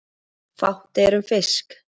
Fátt er um fisk